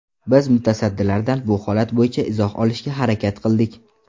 Biz mutasaddilardan bu holat bo‘yicha izoh olishga harakat qildik.